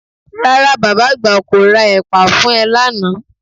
Rárá, bàbá àgbà kò ra ẹ̀pà fún ẹ lánàá